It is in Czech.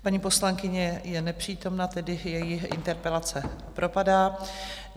Paní poslankyně je nepřítomná, tedy její interpelace propadá.